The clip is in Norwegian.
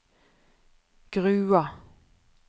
Grua